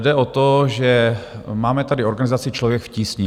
Jde o to, že máme tady organizaci Člověk v tísni.